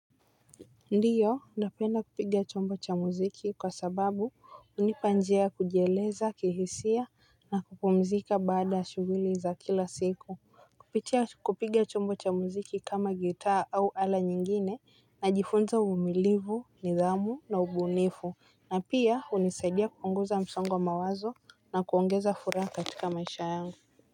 Ndiyo napenda kupiga chombo cha muziki kwa sababu hunipa njia ya kujieleza kihisia na kupumzika baada ya shuguli za kila siku. Kupitia kupiga chombo cha muziki kama gitaa au ala nyingine najifunza uvumilivu nidhamu na ubunifu na pia hunisaidia kuongoza msongo wa mawazo na kuongeza furaha katika maisha yangu.